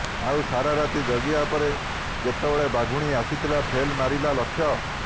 ଆଉ ସାରା ରାତି ଜଗିବା ପରେ ଯେତେବେଳେ ବାଘୁଣୀ ଆସିଥିଲା ଫେଲ ମାରିଲା ଲକ୍ଷ୍ୟ